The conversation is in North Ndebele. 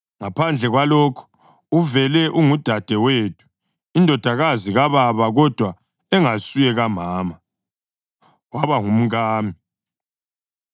Ngaphandle kwalokho, uvele ungudadewethu, indodakazi kababa kodwa engasuye kamama; waba ngumkami.